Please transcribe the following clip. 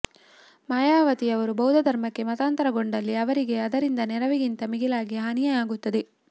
ಮಾಯಾವತಿಯವರು ಬೌದ್ಧ ಧರ್ಮಕ್ಕೆ ಮತಾಂತರಗೊಂಡಲ್ಲಿ ಅವರಿಗೆ ಅದರಿಂದ ನೆರವಿಗಿಂತ ಮಿಗಿಲಾಗಿ ಹಾನಿಯೇ ಆಗಬಹುದು